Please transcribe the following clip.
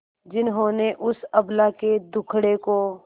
जिन्होंने उस अबला के दुखड़े को